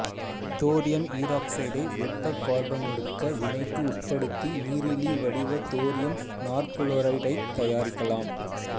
thorium ஈராக்சைடை வெப்பக் கார்பனொடுக்க வினைக்கு உட்படுத்தி நீரிலி வடிவ தோரியம் நாற்குளோரைடைத் தயாரிக்கலாம்